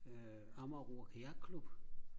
øh Amager ro herre klub